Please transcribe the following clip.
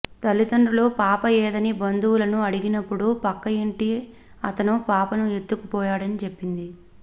తల్లిదండ్రులు పాప ఏదని బంధువులను అడిగినప్పుడు పక్క ఇంటి అతను పాపను ఎత్తుకు పోయాడని చెప్పింది